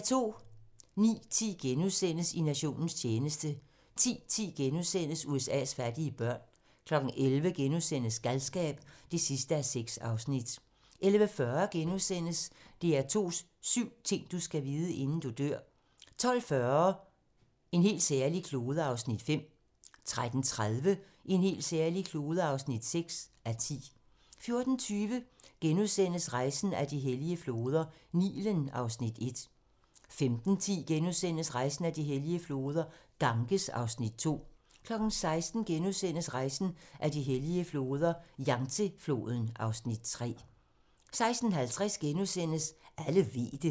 09:10: I nationens tjeneste * 10:10: USA's fattige børn * 11:00: Galskab (6:6)* 11:40: DR2's syv ting, du skal vide, inden du dør * 12:40: En helt særlig klode (5:10) 13:30: En helt særlig klode (6:10) 14:20: Rejsen ad de hellige floder - Nilen (Afs. 1)* 15:10: Rejsen ad de hellige floder - Ganges (Afs. 2)* 16:00: Rejsen ad de hellige floder - Yangtze-floden (Afs. 3)* 16:50: Alle ved det *